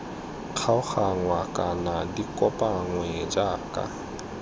kgaoganngwa kana di kopanngwe jaaka